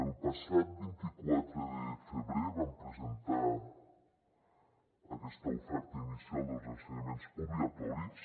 el passat vint quatre de febrer vam presentar aquesta oferta inicial dels ensenyaments obligatoris